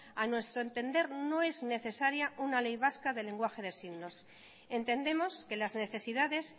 a nuestro entender no es necesaria una ley vasca del lenguaje de signos entendemos que las necesidades